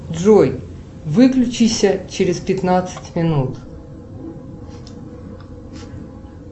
джой выключись через пятнадцать минут